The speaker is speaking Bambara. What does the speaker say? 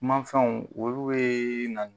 Kumafɛnw olu ye na